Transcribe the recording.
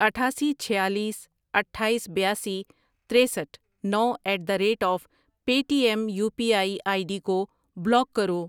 اٹھاسی، چھۍالیس، اٹھایس، بیاسی، ترسٹھ ،نو at the rate of Paytm U P I I D کو بلاک کرو۔